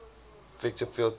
effective field theory